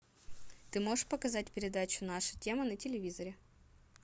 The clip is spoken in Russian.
ты можешь показать передачу наша тема на телевизоре